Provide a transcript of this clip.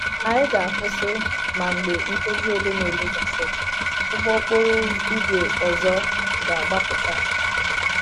Anyị ga-akwụsị, ma mgbe nkeji ole na ole gasịrị, ụgbọ okporo ígwè ọzọ ga-agbapụta.